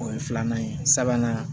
O ye filanan ye sabanan